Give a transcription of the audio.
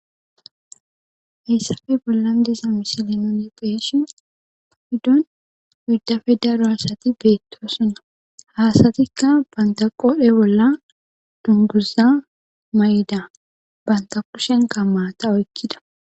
Hayssafe bollan disa misile non ye qeeshi ahiddon widdafe daro asati beettosuna haasatikka bantaqodhe bolla dunguza may7ida banta qushen kammaata oykkida.